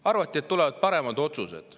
Arvati, et tulevad paremad otsused.